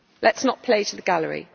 Let us not play to the gallery.